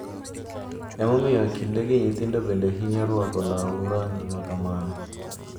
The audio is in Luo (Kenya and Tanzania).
Ema omiyo kindegi nyithindo bende hinyo rwako law rangi makamano.